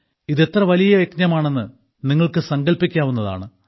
ഇതെത്ര വലിയ യജ്ഞമാണെന്ന് നിങ്ങൾക്ക് സങ്കൽപ്പിക്കാവുന്നതാണ്